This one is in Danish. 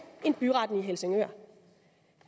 end byretten i helsingør